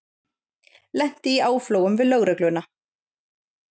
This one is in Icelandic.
Lenti í áflogum við lögregluna